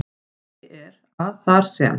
Því er, að þar sem